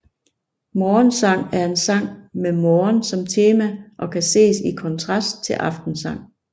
Morgensang er en sang med morgen som tema og kan ses i kontrast til aftensang